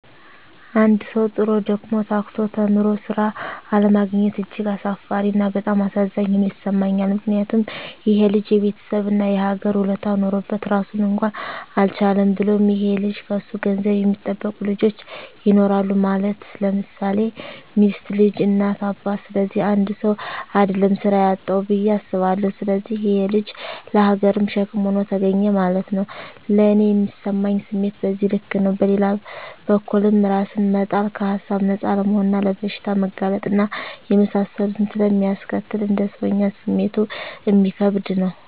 አንድ ሠዉ, ጥሮ: ደክሞ :ታክቶ ተምሮ ስራ አለማግኘት እጅግ አሳፋሪ እና በጣም አሳዛኝ ሆኖ ይሠማኛል ምክንያቱም :ይሄ ልጅ የቤተሠብ እና የሀገር ውለታ ኖሮበት ራሱን እንኳን አልቻለም። ብሎም ይሄ ልጅ ከሱ ገንዘብ የሚጠብቁ ልጆች ይኖራሉ ማለት _ለምሳሌ ሚስት: ልጅ: እናት :አባት ስለዚህ 1ሰው: አደለም ስራ ያጣዉ ብየ አስባለሁ። ስለዚህ ይሄ_ ልጅ ለሀገርም ሸክም ሆኖ ተገኘ ማለት ነዉ። ለኔ ሚሰማኝ ስሜት በዚህ ልክ ነው። በሌላ በኩልም እራስን መጣል ከሀሳብ ነፃ አለመሆንና ለበሽታ መጋለጥ እና የመሳሰሉትን ስለሚያስከትል: እንደ ሰወኛ ስሜቱ እሚከብድ ነው